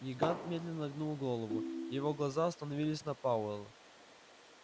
гигант медленно нагнул голову и его глаза остановились на пауэлл